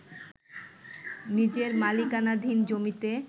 নিজের মালিকানাধীন জমিতে